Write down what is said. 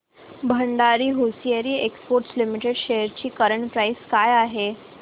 Bhandari hosiery exports limited shares ची current price काय आहे